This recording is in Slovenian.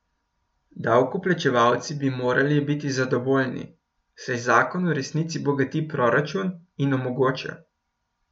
Davkoplačevalci bi morali biti zadovoljni, saj zakon v resnici bogati proračun in omogoča.